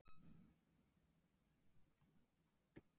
Þá höfðu kringumstæðurnar hins vegar verið auðveldari.